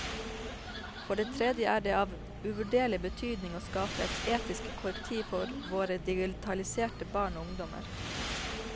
For det tredje er det av uvurderlig betydning å skape et etisk korrektiv for våre digitaliserte barn og ungdommer.